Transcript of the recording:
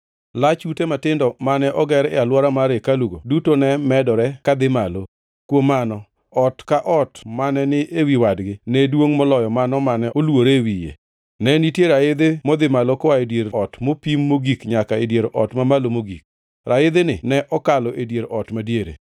Lach ute matindo mane oger e alwora mar hekalugo duto ne medore ka dhi malo. Kuom mano, ot ka ot mane ni ewi wadgi ne duongʼ moloyo mano mane olwore e wiye. Ne nitie raidhi modhi malo koa e dier ot mapiny mogik nyaka dier ot mamalo mogik. Raidhini ne okalo e dier ot madiere.